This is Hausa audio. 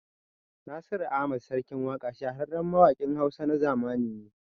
Nasiru Ahmad (Sarkin Waƙa) shahararren mawaƙin Hausa na zamani ne